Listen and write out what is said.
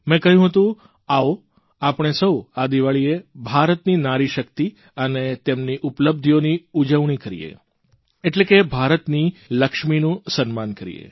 મે કહ્યું હતું આવો આપણે સહુ આ દીવાળીએ ભારતની નારીશક્તિ અને તેમની ઉપલબ્ધિઓની ઉજવણી કરીએ એટલે કે ભારતની લક્ષ્મીનું સન્માન કરીએ